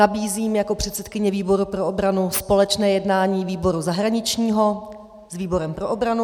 Nabízím jako předsedkyně výboru pro obranu společné jednání výboru zahraničního s výborem pro obranu.